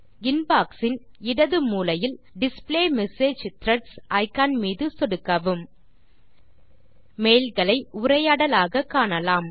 inbox இன் இடது மூலையில் டிஸ்ப்ளே மெசேஜ் த்ரெட்ஸ் இக்கான் மீது சொடுக்கவும் மெயில் களை உரையாடலாக காணலாம்